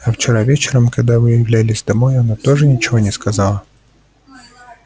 а вчера вечером когда вы являлись домой она тоже ничего не сказала